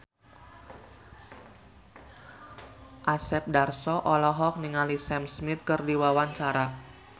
Asep Darso olohok ningali Sam Smith keur diwawancara